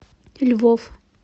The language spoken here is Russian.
львов